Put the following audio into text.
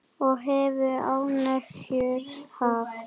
Og hefur ánægju af.